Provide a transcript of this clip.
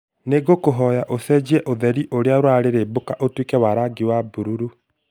Nĩ ngũkũhoya ũcenjie ũtheri ũrĩa ũrarĩrĩmbũka ũtuĩke wa rangi wa bururu